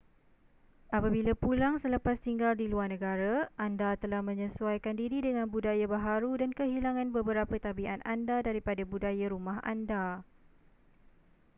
apabila pulang selepas tinggal di luar negara anda telah menyesuaikan diri dengan budaya baharu dan kehilangan beberapa tabiat anda daripada budaya rumah anda